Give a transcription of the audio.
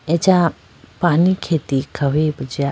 acha panikheti khawuyi bo jiya.